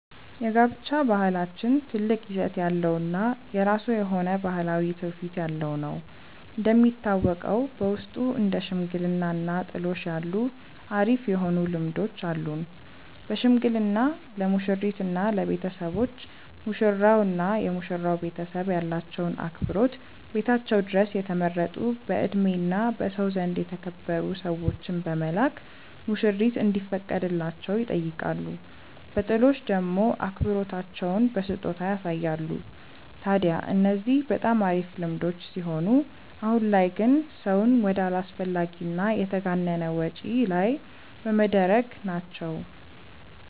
የጋብቻ ባህላችን ትልቅ ይዘት ያለው እና የራሱ የሆነ ባህላዊ ትውፊት ያለው ነው። እንደሚታወቀው በውስጡ እንደ ሽምግልና እና ጥሎሽ ያሉ አሪፍ የሆኑ ልምዶች አሉን። በሽምግልና ለሙሽሪት እና ለቤተሰቦች፤ ሙሽራው እና የመሽራው ቤተሰብ ያላቸውን አክብሮት ቤታቸው ድረስ የተመረጡ በእድሜ እና በሰው ዘንድ የተከበሩ ሰዎችን በመላክ ሙሽሪት እንዲፈቀድላቸው ይጠይቃሉ። በጥሎሽ ደሞ አክብሮታቸውን በስጦታ ያሳያሉ። ታድያ እነዚህ በጣም አሪፍ ልምዶች ሲሆኑ አሁን ላይ ግን ሰውን ወደ አላስፈላጊ እና የተጋነነ ወጪ ላይ በመደረግ ላይ ናቸው።